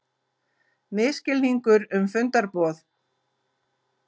Misskilningur um fundarboð